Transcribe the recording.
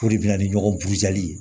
K'o de bɛna ni ɲɔgɔn ye